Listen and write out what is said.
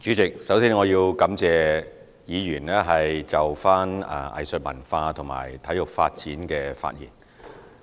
主席，首先，我要感謝議員就藝術文化和體育發展的發言。